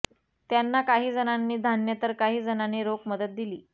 त्यांना काही जणांनी धान्य तर काही जणांनी रोख मदत दिली